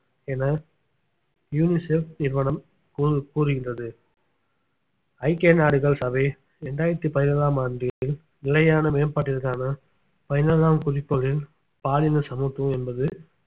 என யூனிசெப் நிறுவனம் கூறு~ கூறுகின்றது ஐக்கிய நாடுகள் சபை இரண்டாயிரத்தி பதினேழாம் ஆண்டு நிலையான மேம்பாட்டிற்கான பதினேழாம் குறிக்கோளில் பாலின சமத்துவம் என்பது